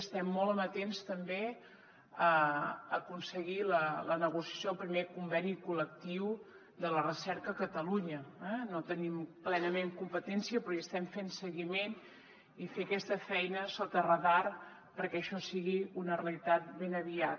estem molt amatents també a aconseguir la negociació del primer conveni col·lectiu de la recerca a catalunya eh no tenim plenament competència però hi estem fent seguiment i fer aquesta feina sota radar perquè això sigui una realitat ben aviat